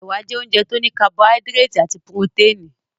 Ẹ̀wà jẹ́ oúnjẹ tó ní kabọhádírètì àti puroténì.